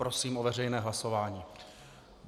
Prosím o veřejné hlasování.